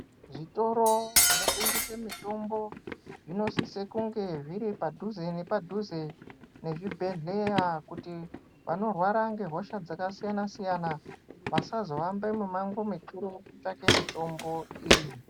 Zvitoro zvinotengese mitombo, zvinosise kunge zviri padhuze nepadhuze nezvibhedhleya, kuti vanorwara ngehosha dzakasiyana-siyana, vasazohambe mimango mikuru kutsvake mitombo iyi.